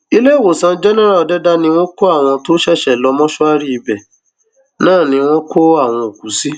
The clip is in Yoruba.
iléèwòsàn jẹnẹrà òdẹdà ni wọn kó àwọn tó ṣẹṣẹ lọ mọṣúárì ibẹ náà ni wọn kó àwọn òkú sí